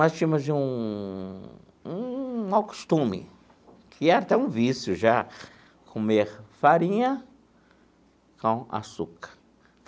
Nós tínhamos um um mal costume, que era até um vício, já, comer farinha com açúcar.